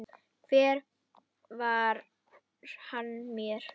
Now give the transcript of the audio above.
Hver var hann mér?